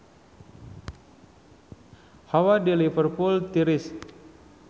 Hawa di Liverpool tiris